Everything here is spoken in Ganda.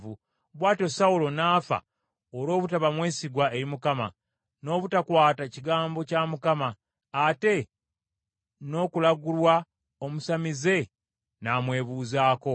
Bw’atyo Sawulo n’afa olw’obutaba mwesigwa eri Mukama , n’obutakwata kigambo kya Mukama , ate n’okulagulwa omusamize n’amwebuuzaako,